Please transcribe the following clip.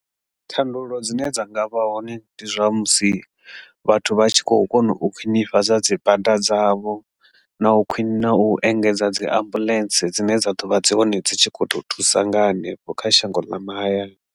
Thandululo dzine dza nga vha hone ndi zwa musi vhathu vha tshi kho kona u khwinifhadza dzibada dzavho na u khwini na u engedza dzi ambulence dzine dza ḓovha dzi hone dzi tshi kho thusa nga hanefho kha shango ḽa mahayani.